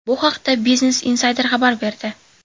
Bu haqda Business Insider xabar berdi .